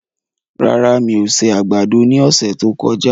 Rárá, mi ò se àgbàdo ní ọ̀sẹ̀ tí ó kọjá